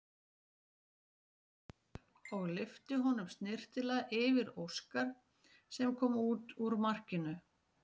Hljóp hann boltann upp og lyfti honum snyrtilega yfir Óskar sem kom út úr markinu.